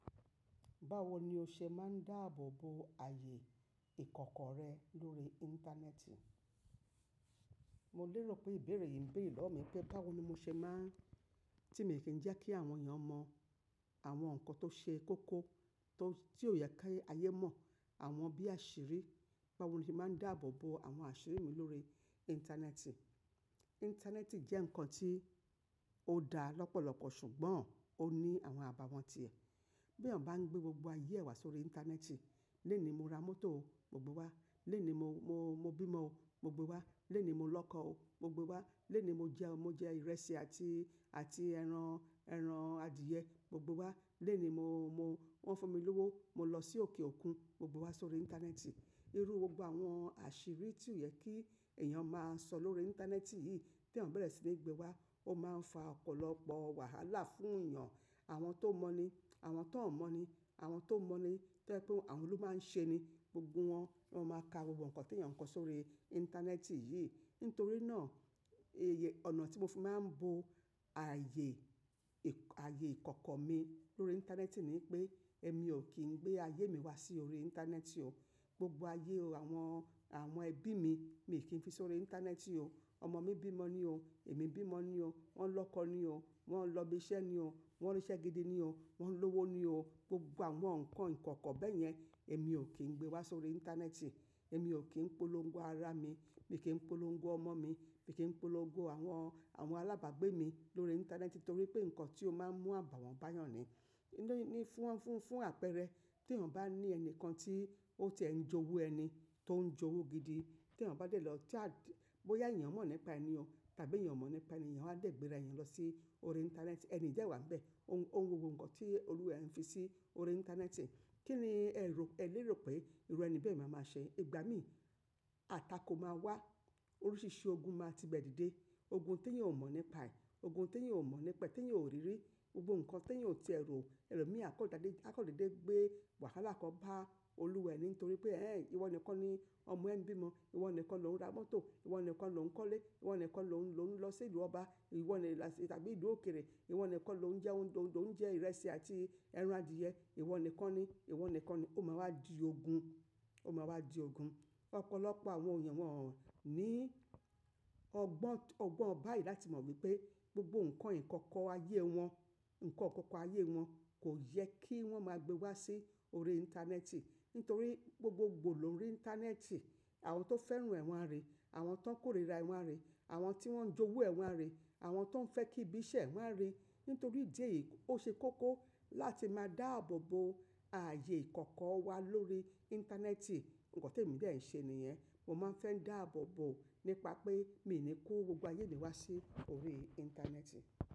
Báwo ni o ṣe máa ń dáàbò bo ààyè ìkọ̀kọ̀ rẹ lórí Íńtánẹ́ẹ̀tì? Mo lérò pé ìbéèrè yìí ń béèrè lọ́wọ́ mi pé báwo ni mo ṣe máa ń, tí mo kì í jẹ́ kí àwọn èèyàn mọ àwọn nǹkan tó ṣe kókó, tó, tí ò yẹ kí ayé mọ̀, àwọn bí àṣírí, báwo ni mo máa ń dáàbò bo àwọn àṣírí mi lórí Íńtánẹ́ẹ̀tì? Íńtánẹ́ẹ̀tì jẹ́ nǹkan tí ó dara lọ́pọ̀lọpọ̀ ṣùgbọ́n ó ní àwọn àbàwọ́n ti ẹ̀. Bí èèyàn bá ń gbé gbogbo ayé ẹ̀ wá sórí Íńtánẹ́ẹ̀tì, lénìí mo ra mọ́tò, mo gbé wá, lénìí mo, mo, mo bímo, mo gbé wá, lénìí mo lọ́kọ, mo gbé wá, lénìí mo jẹun, mo jẹ ìrẹsì àti, àti ẹran, ẹran adìẹ, mo gbé wá, lénìí mo, mo, wọ́n fún mi lówó, mo lọ sí òkè òkun, mo gbé wá sórí Íńtánẹ́ẹ̀tì. Irú gbogbo àwọn àṣírí tí ò yẹ kí èèyàn máa sọ lórí Íńtánẹ́ẹ̀tì yìí tí èèyàn bẹ̀rẹ̀ sí ní gbé wá, ó máa ń fa ọ̀pọ̀lọpọ̀ wàhálà fún èèyàn, àwọn tó mọ̀ ni, àwọn tó ò mọ̀ ni, àwọn tó mọ̀ ni, tó ẹni tó, àwọn ló máa ń ṣe ni gbogbo wọn, wọ́n ma ma ka gbogbo nǹkan tí èèyàn kọ sórí Íńtánẹ́ẹ̀tì yìí. Nítorí náà, iye, ọ̀nà tí mo fi máa ń bo ààyè ìkọ̀kọ̀ mi lórí Íńtánẹ́ẹ̀tì ni pé èmi ò kí ń gbé ayé mi wá sí orí Íńtánẹ́ẹ̀tì o. Gbogbo ayé o àwọn, àwọn ẹbí mi, mi kì í fi sórí Íńtánẹ́ẹ̀tì o. Ọmọ mi bímo ni o, èmi bímo ni o, wọ́n ń lọ́kọ ni o, wọ́n ń lọ ibi iṣẹ́ ni o, wọ́n rí iṣẹ́ gidi ni o, wọ́n ń lówó ni o. Gbogbo àwọn nǹkan ìkọ̀kọ̀ bẹ́ẹ̀ yẹn èmi ò kí ń gbé wá sórí Íńtánẹ́ẹ̀tì. Èmi ò kí ń polongo ara mi, mi kì í polongo ọmọ mi, mi kì í polongo àwọn, àwọn alábàgbé mi lórí Íńtánẹ́ẹ̀tì torí pé nǹkan tí ó máa ń mú àbàwọ́n báyẹn ni. Ni fún, fún, fún àpẹẹrẹ tí èèyàn bá ní ẹni kan tí ó ti ẹ ń jowú ẹni, tó ń jowú gidi, tí èèyàn bá dẹ̀ lọ chat, bóyá èèyàn mọ̀ nípa ẹni o tàbí èèyàn mọ̀ nípa ẹni, èèyàn á dẹ̀ gbéra ẹni lọ sí orí Íńtánẹ́ẹ̀tì, ẹni yìí dẹ wá ń bẹ. O n wo gbogbo nǹkan tí olúwa ẹ ń fi sí orí Íńtánẹ́ẹ̀tì, kí ni ẹ rò, ẹ lérò pé ìruni bẹ́ẹ̀ máa máa ṣe? Ìgbà mí, atakó máa wá, oríṣìíríṣìí ogun máa tí bẹ́ẹ̀ dìde. Ogun tí èèyàn ò mọ̀ nípaẹ̀, ogun tí èèyàn ò mọ̀ nípa ẹ, tí èèyàn ò rí rí, gbogbo nǹkan tí èèyàn ò ti ẹ rò. Ẹ̀lò mì á kàn dédé, a kàn dèdé gbé wàhálà kan bá olúwa ẹ ní torí pé "ẹ́ ẹ̀, ìwọ nìkan ni ọmọ ẹ ń bímo, ìwọ nìkan ni òun ra mọ́tò, ìwọ nìkan ni òun ń kọ́lé, ìwọ nìkan ni òun, lò ń lọ sí ìlú ọba, ìwọ nìkan tàbí ìlú òkèrè, ìwọ nìkan ni òun jẹ́ oun, òun jẹ ìrẹsì àti ẹran adìẹ, ìwọ nìkan ni, ìwọ nìkan ni." Ó máa wá di ogun, ó máa wá di ogun. Ọ̀pọ̀lọpọ̀ àwọn èèyàn wọ́n o ní ọgbọ́n, ọgbọ́n báyìí láti mọ̀ wípé gbogbo nǹkan ìkọ̀kọ̀ ayé wọn, nǹkan ìkọ̀kọ̀ ayé wọn kò yẹ kí wọ́n máa gbé wá sí orí Íńtánẹ́ẹ̀tì. Nítorí gbogbo gbò lórí Íńtánẹ́ẹ̀tì, àwọn tó fẹ́ràn ẹ̀ wọ́n á ríi, àwọn tó ń kórìíra ẹ̀ wọ́n á ríi, àwọn tí wọ́n ń jowú ẹ̀ wọ́n á ríi, àwọn tó ń fẹ́ kí ibi iṣẹ́ ẹ̀ wọ́n á ríi. Nítorí ìdí èyí, ó ṣe kókó láti máa dáàbò bo ààyè ìkọ̀kọ̀ wa lórí Íńtánẹ́ẹ̀tì. Nǹkan tí èmi dẹ̀ ń ṣe nìyẹn, mo máa ń fẹ́ dáàbò bo nípa pé mi ò ní kó gbogbo ayé mi wá sí orí Íńtánẹ́ẹ̀tì.